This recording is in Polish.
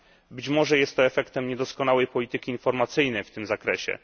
Być może jest to efektem niedoskonałej polityki informacyjnej w tym zakresie.